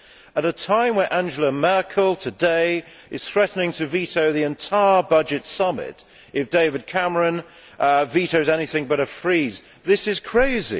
At a time when Angela Merkel today is threatening to veto the entire budget summit if David Cameron vetoes anything but a freeze, this is crazy.